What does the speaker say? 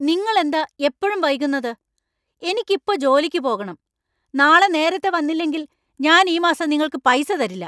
നിങ്ങൾ എന്താ എപ്പോഴും വൈകുന്നത്? എനിക്ക് ഇപ്പോ ജോലിക്ക് പോകണം! നാളെ നേരത്തെ വന്നില്ലെങ്കിൽ ഞാൻ ഈ മാസം നിങ്ങൾക്ക് പൈസ തരില്ല.